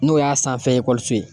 N'o y'a sanfɛ ye